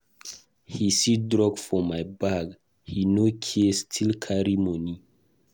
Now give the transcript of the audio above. He see drug for my bag, he no care still carry money.